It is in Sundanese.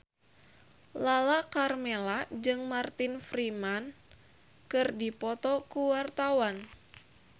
Lala Karmela jeung Martin Freeman keur dipoto ku wartawan